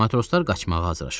Matroslar qaçmağa hazırlaşırdılar.